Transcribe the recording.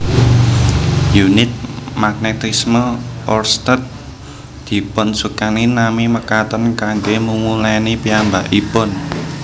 Unit magnetisme oersted dipunsukani nami mekaten kanggé mumulèni piyambakipun